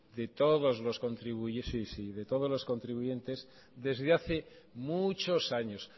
de todos los contribuyentes desde hace muchos años